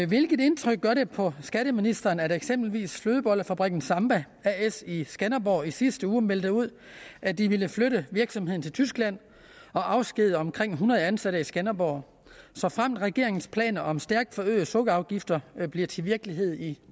hvilket indtryk gør det på skatteministeren at eksempelvis flødebollefabrikken samba as i skanderborg i sidste uge meldte ud at de vil flytte virksomheden til tyskland og afskedige omkring hundrede ansatte i skanderborg såfremt regeringens planer om stærkt forøgede sukkerafgifter bliver til virkelighed i